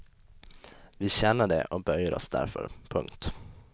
Vi känner det och böjer oss därför. punkt